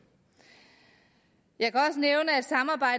jeg